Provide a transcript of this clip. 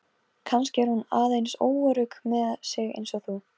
Kannski er hún aðeins óörugg með sig eins og þú.